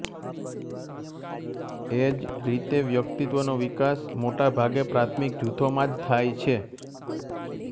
એ જ રીતે વ્યક્તિત્વનો વિકાસ મોટાભાગે પ્રાથમિક જૂથોમાં જ થાય છે